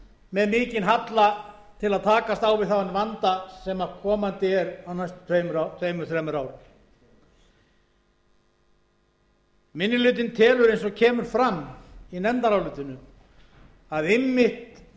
með mikinn halla til að takast á við þann vanda sem komandi er á næstu tveimur þremur árum minni hlutinn telur eins og kemur fram í nefndarálitinu að einmitt